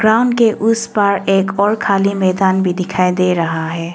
Ground के उस पार एक और खाली मैदान भी दिखाई दे रहा है।